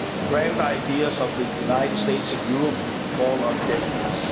Grand ideas of the United States of Europe' fall on deaf ears.